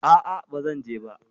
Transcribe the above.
A'a, ba zan je ba.